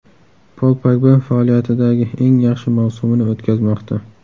Pol Pogba faoliyatidagi eng yaxshi mavsumini o‘tkazmoqda.